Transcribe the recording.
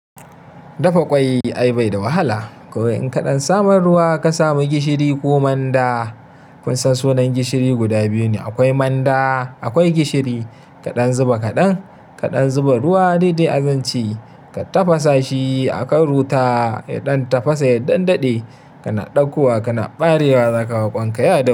Dafa ƙwai ai bai da wahala. In kaɗan samar ruwa ka sami gishiri ko manda. Kun san sunan gishiri guda biyu ne akwai manda akwai gishiri kaɗan zuba kaɗan kaɗan zuba ruwa dai dai zan ci ka tafasa shi akan ruta. Ya ɗan tafasa ya ɗan daɗe kana ɗaukowa kana ɓarewa za ka ma ɓangaya da.